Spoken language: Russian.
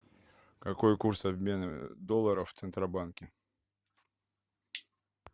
какой курс обмена доллара в центробанке